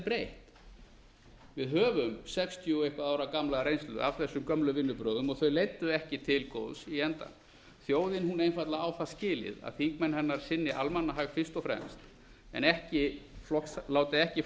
breytt við höfum sextíu ára og eitthvað ára gamla reynslu af þessum gömlu vinnubrögðum þau leiddu ekki til góðs í enda þjóðin einfaldlega á það skilið að þingmenn hennar sinni almannahag fyrst og fremst en láti ekki